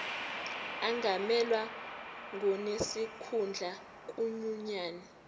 angamelwa ngonesikhundla kwinyunyane